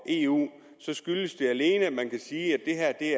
eu skyldes det alene at man kan sige at det